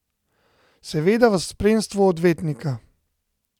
Seveda v spremstvu odvetnika.